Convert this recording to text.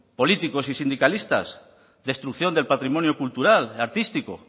políticos y sindicalistas destrucción del patrimonio cultural artístico